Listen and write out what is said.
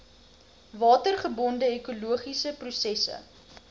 watergebonde ekologiese prosesse